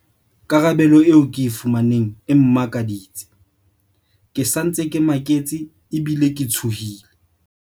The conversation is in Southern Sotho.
Karabelo eo ke e fumaneng e mmakaditse. Ke sa ntse ke maketse ebile ke tshohile.